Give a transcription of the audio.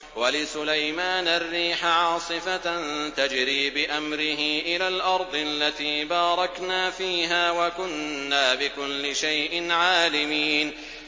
وَلِسُلَيْمَانَ الرِّيحَ عَاصِفَةً تَجْرِي بِأَمْرِهِ إِلَى الْأَرْضِ الَّتِي بَارَكْنَا فِيهَا ۚ وَكُنَّا بِكُلِّ شَيْءٍ عَالِمِينَ